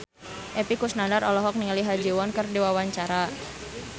Epy Kusnandar olohok ningali Ha Ji Won keur diwawancara